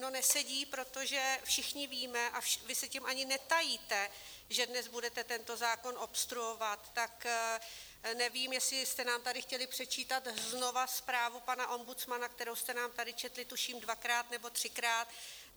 No nesedí, protože všichni víme, a vy se tím ani netajíte, že dnes budete tento zákon obstruovat, tak nevím, jestli jste nám tady chtěli předčítat znovu zprávu pana ombudsmana, kterou jste nám tady četli tuším dvakrát nebo třikrát.